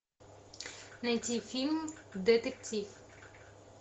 найти фильм детектив